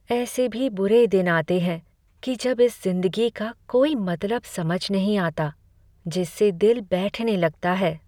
ऐसे भी बुरे दिन आते हैं कि जब इस जिंदगी का कोई मतलब समझ नहीं आता, जिससे दिल बैठने लगता है।